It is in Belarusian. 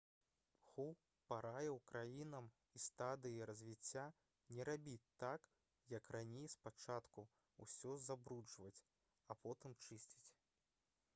ху параіў краінам у стадыі развіцця «не рабіць так як раней — спачатку ўсё забруджваць а потым чысціць»